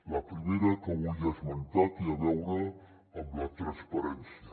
la primera que vull esmentar té a veure amb la transparència